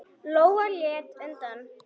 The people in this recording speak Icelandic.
Lóa leit undan.